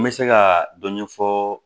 N bɛ se ka dɔ ɲɛfɔ